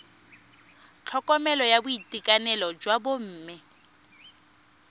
tlhokomelo ya boitekanelo jwa bomme